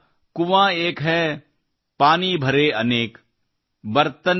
ಕಬೀರಾ ಕುಂವಾ ಏಕ್ ಹೈ ಪಾನೀ ಭರೇ ಅನೇಕ್ |